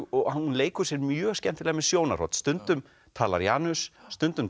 og hún leikur sér mjög skemmtilega með sjónarhorn stundum talar Janus stundum